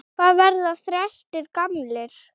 Hvað verða þrestir gamlir?